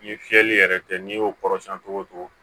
Ni fiyɛli yɛrɛ tɛ n'i y'o kɔrɔsiyɛn togo togo